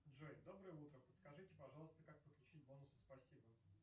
джой доброе утро подскажите пожалуйста как подключить бонусы спасибо